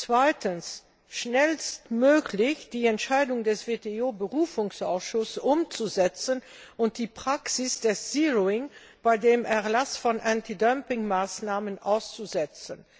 zweitens schnellstmöglich die Entscheidung des WTO Berufungsausschusses umzusetzen und die Praxis des sogenannten zeroing beim Erlass von Antidumpingmaßnahmen auszusetzen